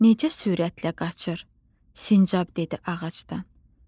Necə sürətlə qaçır, Sincab dedi ağacdan.